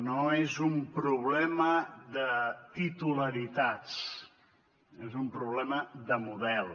no és un problema de titularitats és un problema de model